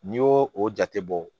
N'i y'o o jate bɔ